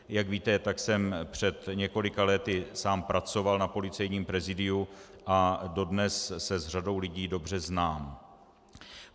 Jak víte, tak jsem před několika lety sám pracoval na Policejním prezídiu a dodnes se s řadou lidí dobře znám.